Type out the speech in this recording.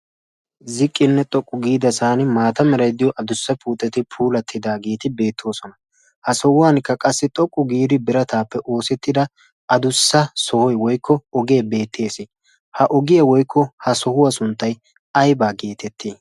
Ziqqinne xoqqu giidasan maata meray diyo adussa puuteti puulattidaageeti beettoosona. Ha sohuwankka qassi xoqqu giidi birataappe oosettida adussa sohoy woykko oge beettes. Ha ogiya woykko ha sohuwa sunttay ayibaa geetetti?